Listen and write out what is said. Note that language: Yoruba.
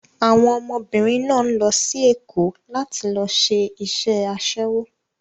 Àwọn ọmọbìnrin náà ń lọ sí Èkó láti lọ ṣe iṣẹ́ aṣẹ́wó.